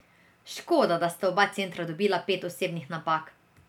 Škoda, da sta oba centra dobila pet osebnih napak.